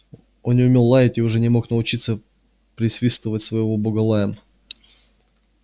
он не умел лаять и уже не мог научиться присвистывать своего бога лаем